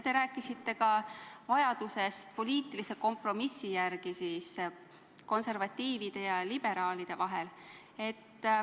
Te rääkisite ka vajadusest leida poliitiline kompromiss konservatiivide ja liberaalide vahel.